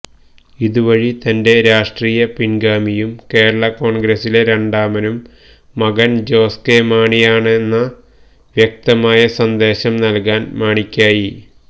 ഇതുവഴി തന്റെ രാഷ്ട്രീയ പിന്ഗാമിയും കേരള കോണ്ഗ്രസിലെ രണ്ടാമനും മകന് ജോസ് കെ മാണിയാണെന്ന വ്യക്തമായ സന്ദേശം നല്കാന് മാണിക്കായി